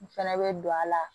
N fɛnɛ be don a la